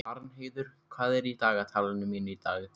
Arnheiður, hvað er í dagatalinu mínu í dag?